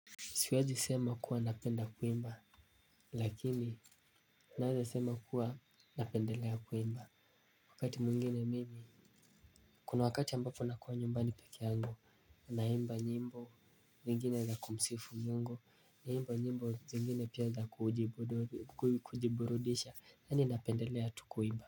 Siwezi sema kuwa napenda kuimba, lakini naweza sema kuwa napendelea kuimba. Wakati mwingine mimi, kuna wakati ambapo nakua nyumbani pekee yangu, naimba nyimbo, nyingine za kumsifu mungu, naimba nyimbo zingine pia za kujiburudisha, yaani napendelea tu kuimba.